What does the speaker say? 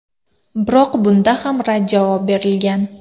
Biroq bunga ham rad javob berilgan.